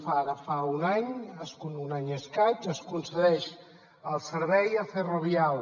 ara fa un any un any i escaig es concedeix el servei a ferrovial